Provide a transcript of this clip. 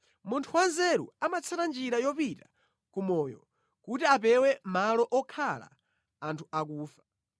Munthu wanzeru amatsata njira yopita ku moyo kuti apewe malo okhala anthu akufa.